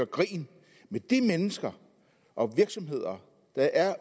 grin med de mennesker og virksomheder der er